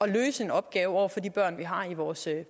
løse opgaven over for de børn vi har i vores